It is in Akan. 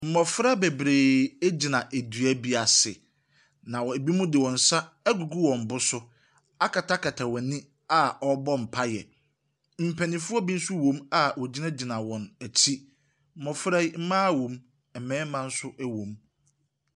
Mmɔfra bebree gyina dua bi ase. Na wɔ binom de wɔn nsa agugu wɔn bo so akata wɔn ani a wɔrebɔ mpaeɛ. Mpanimfoɔ bi nso wɔ mu wɔgyinagyina wɔn akyi. Mmɔfra yi, mmaa wɔm, mmarima nso wɔm.